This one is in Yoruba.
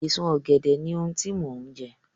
Èso Ọ̀gẹ̀dẹ̀ ni ohun tí mò ń jẹ